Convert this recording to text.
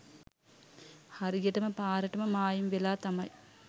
හරියටම පාරටම මායිම් වෙලා තමයි